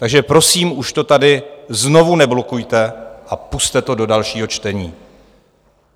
Takže, prosím, už to tady znovu neblokujte a pusťte to do dalšího čtení.